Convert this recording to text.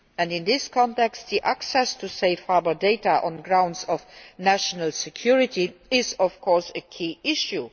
In this context, access to Safe Harbour data on grounds of national security is, of course, a key issue.